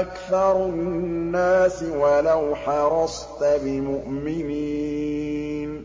أَكْثَرُ النَّاسِ وَلَوْ حَرَصْتَ بِمُؤْمِنِينَ